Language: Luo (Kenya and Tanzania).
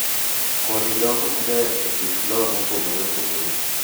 Kodhi dongo maber e kit lowo mopogore opogore